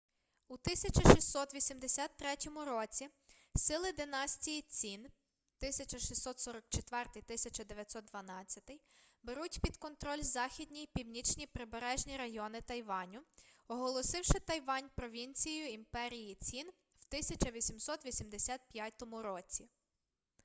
у 1683 році сили династії цін 1644-1912 беруть під контроль західні й північні прибережні райони тайваню оголосивши тайвань провінцією імперії цін в 1885 році